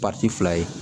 fila ye